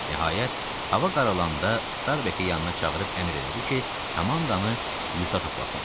Nəhayət, hava qaralanda Starbeki yanına çağırıb əmr elədi ki, komandanı yığta toplasın.